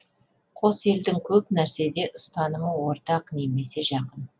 қос елдің көп нәрседе ұстанымы ортақ немесе жақын